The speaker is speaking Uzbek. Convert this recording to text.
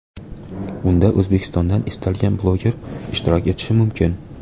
Unda O‘zbekistondan istalgan bloger ishtirok etishi mumkin.